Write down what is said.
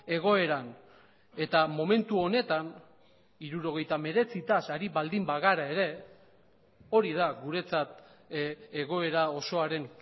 egoeran eta momentu honetan hirurogeita hemeretzitaz ari baldin bagara ere hori da guretzat egoera osoaren